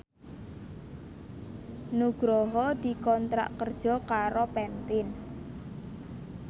Nugroho dikontrak kerja karo Pantene